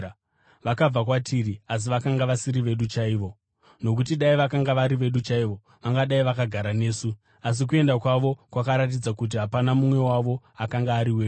Vakabva kwatiri, asi vakanga vasiri vedu chaivo. Nokuti dai vakanga vari vedu chaivo, vangadai vakagara nesu; asi kuenda kwavo kwakaratidza kuti hapana mumwe wavo akanga ari wedu.